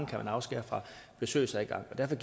kan afskære fra besøgsadgang derfor